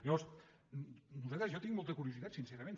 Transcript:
llavors jo tinc molta curiositat sincerament